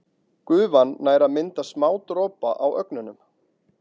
Gufan nær að mynda smádropa á ögnunum.